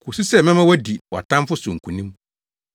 kosi sɛ mɛma woadi wʼatamfo so nkonim.’